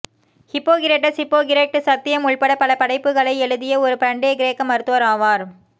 Hippocrates Hippocratic சத்தியம் உட்பட பல படைப்புகளை எழுதிய ஒரு பண்டைய கிரேக்க மருத்துவர் ஆவார்